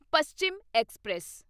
Paschim express